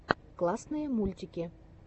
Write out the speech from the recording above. классные мультики